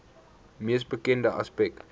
mees bekende aspek